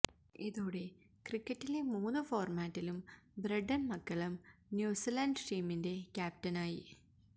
ഇതോടെ ക്രിക്കറ്റിലെ മൂന്നു ഫോര്മാറ്റിലും ബ്രണ്ടന് മക്കല്ലം ന്യൂസിലാന്ഡ് ടീമിന്റെ ക്യാപ്റ്റനായി